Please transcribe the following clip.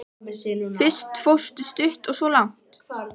Fyrst fórstu stutt og svo langt.